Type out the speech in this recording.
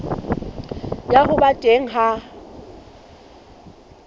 ya ho ba teng ha